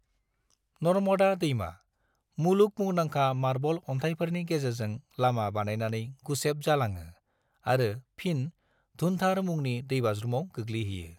नर्मदा दैमा, मुलुग मुंदांखा मार्ब'ल अनथाइफोरनि गेजेरजों लामा बानायनानै गुसेब जालाङो आरो फिन धुन्धार मुंनि दैबाज्रुमाव गोग्लैहैयो।